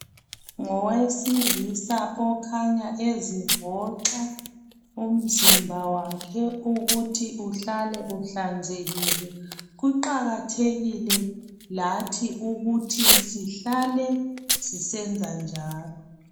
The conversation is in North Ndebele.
Ngowesilisa okhanya ezivoxa umzimba wakhe ukuthi uhlale uhlanzekile, kuqakathekile lathi ukuthi sihlale sisenza njalo.